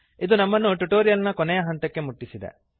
ಇದು ನಮ್ಮನ್ನು ಟ್ಯುಟೋರಿಯಲ್ ನ ಕೊನೆಗೆ ಮುಟ್ಟಿಸಿದೆ